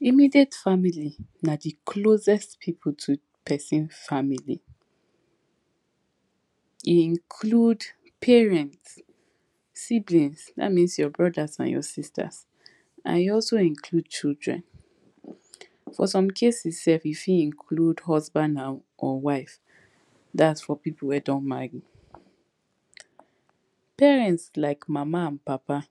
Immediate family na the closest pipu to person family e include parents, siblings that means your brothers and your sisters and e also include children. For some cases self e fit include husband and or wife thats for pipu wey don marry. Parents like mama and papa,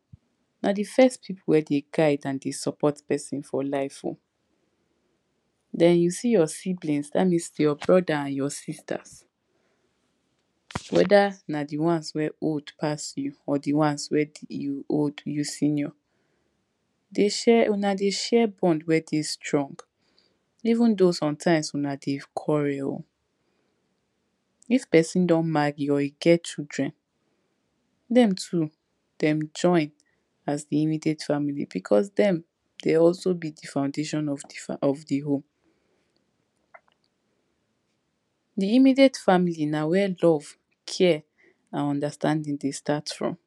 na the first pipu wey dey guide and dey support person for life oo then you see your siblings that means your brother and your sisters weda na the ones wey old pass you or the ones wey you old you senior dey share una dey share bond wey dey strong even though somtimes una dey quarrel o. If person don marry or e get children, dem too dem join as the immediate family because dem dey also build the foundation of the fam of the home. The immediate family na where love, care and understanding dey start from,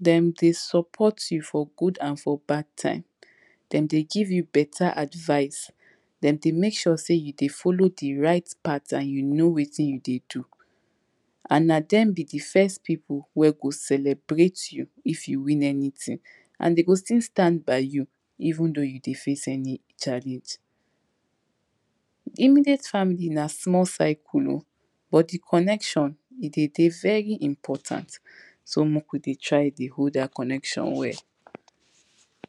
dem dey support you for good and for bad time, dem dey give you beta advise, dem dey make sure you dey follow the right pattern and you know wetin you dey do and na dem be the first pipu wey go celebrate you if you win anything and dem go still stand by you even though you dey face any challenge. Immediate family na small cycle o but the connection e dey dey very important, so make we dey try to dey hold the connection well